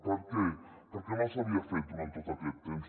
per què perquè no s’havia fet durant tot aquest temps